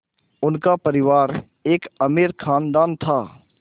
उनका परिवार एक अमीर ख़ानदान था